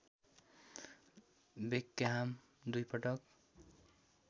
Beckham दुई पटक